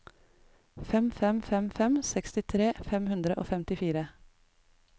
fem fem fem fem sekstitre fem hundre og femtifire